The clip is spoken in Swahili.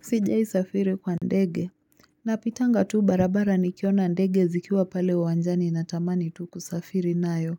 Sijiaisafiri kwa ndege. Napitanga tu barabara nikiona ndege zikiwa pale uwanjani natamani tu kusafiri nayo.